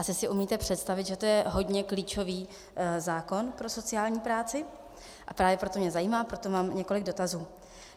Asi si umíte představit, že to je hodně klíčový zákon pro sociální práci, a právě proto mě zajímá, proto mám i několik dotazů.